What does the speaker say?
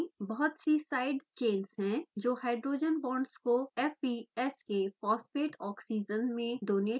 बहुत सी side chains हैं जो हाइड्रोजन बांड्स को fps के phosphate oxygens में डोनेट कर सकता है